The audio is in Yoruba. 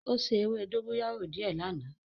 O se ewe dogoyaro die lana.